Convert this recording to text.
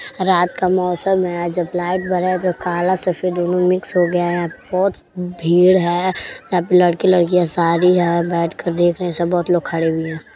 रात का मोसम है जब लाईट बड़ा है जो काला सफ़ेद दोनों मिक्स हो गया है। यहाँ पे बहुत भीड़ है यहाँ पे लड़के-लड़कियां सारी बैठ कर देख रहे हैं सब बहुत लोग खड़े भी हैं।